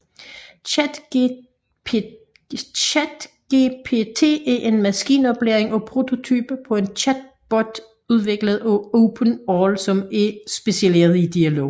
ChatGPT er en maskinlæring prototype på en chatbot udviklet af OpenAI som er specialiseret i dialog